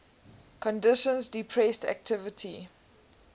conditions depressed activity